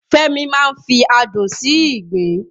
Fẹ́mi máa ń fi adùn sí ìgbín